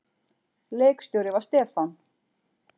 Leikstjóri var Stefán